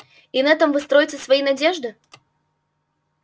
и на этом вы строите свои надежды